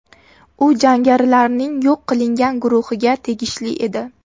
U jangarilarning yo‘q qilingan guruhiga tegishli edi.